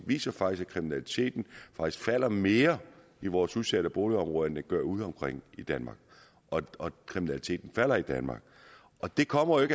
viser faktisk at kriminaliteten falder mere i vores udsatte boligområder end den gør udeomkring i danmark og kriminaliteten falder i danmark det kommer jo